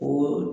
O